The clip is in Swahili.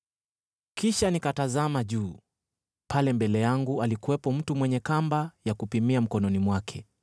Kisha nikatazama juu: pale mbele yangu alikuwepo mtu mwenye kamba ya kupimia mkononi mwake!